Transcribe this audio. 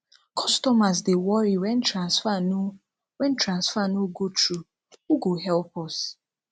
customers dey worry wen transfer no wen transfer no go through who go help us